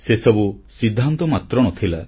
ସେସବୁ ସିଦ୍ଧାନ୍ତ ମାତ୍ର ନ ଥିଲା